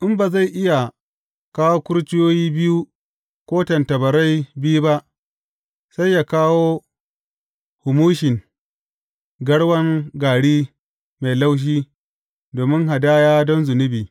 In ba zai iya kawo kurciyoyi biyu ko tattabarai biyu ba, sai yă kawo humushin garwan gari mai laushi domin hadaya don zunubi.